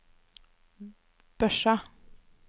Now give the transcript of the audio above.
Børsa